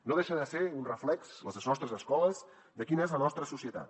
no deixen de ser un reflex les nostres escoles de quina és la nostra societat